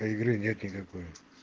а игры нет никакой